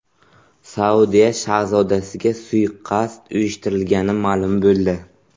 Saudiya shahzodasiga suiqasd uyushtirilgani ma’lum bo‘ldi.